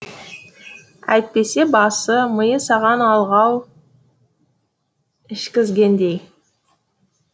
әйтпесе басы миы саған алғау ішкізгендей